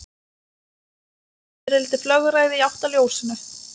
Náttfiðrildi flögraði í átt að ljósinu.